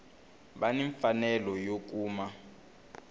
va ni mfanelo yo kuma